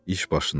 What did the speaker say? İş başında.